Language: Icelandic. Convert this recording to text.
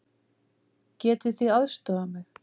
Getið þið aðstoðað mig?